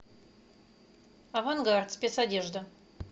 авангард спецодежда